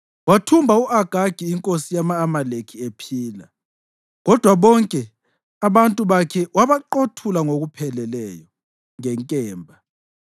Wathumba u-Agagi inkosi yama-Amaleki ephila, kodwa bonke abantu bakhe wabaqothula ngokupheleleyo, ngenkemba.